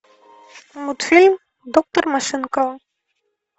мультфильм доктор машинкова